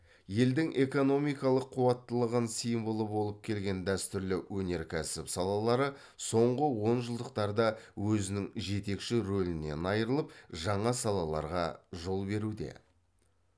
елдің экономикалық қуаттылығын символы болып келген дәстүрлі өнеркәсіп салалары соңғы онжылдықтарда өзінің жетекші рөлінен айырылып жаңа салаларға жол беруде